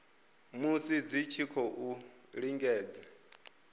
musi dzi tshi khou lingedza